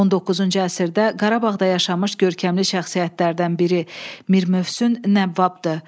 19-cu əsrdə Qarabağda yaşamış görkəmli şəxsiyyətlərdən biri Mir Mövsüm Nəvvabdır.